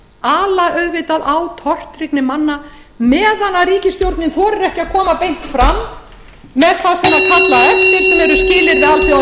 ala auðvitað á tortryggni manna meðan ríkisstjórnin þorir ekki að koma beint fram með það sem er kallað eftir sem